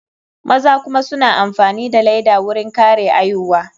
Maza kuma suna amfani da laida wurin kare aihuwa.